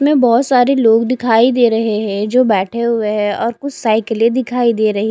में बहोत सारे लोग दिखाई दे रहे है जो बेठे हुए है और कुछ साइकिले दिखाई दे रही--